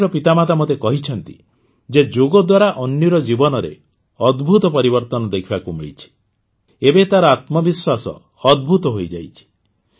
ଅନ୍ୱୀର ମାତାପିତା ମୋତେ କହିଛନ୍ତି ଯେ ଯୋଗ ଦ୍ୱାରା ଅନ୍ୱୀର ଜୀବନରେ ଅଦ୍ଭୁତ ପରିବର୍ତ୍ତନ ଦେଖିବାକୁ ମିଳିଛି ଏବେ ତାର ଆତ୍ମବିଶ୍ୱାସ ଅଦ୍ଭୁତ ହୋଇଯାଇଛି